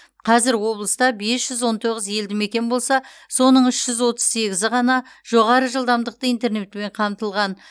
қазір облыста бес жүз он тоғыз елді мекен болса соның үш жүз отыз сегізі ғана жоғары жылдамдықты интернетпен қамтылған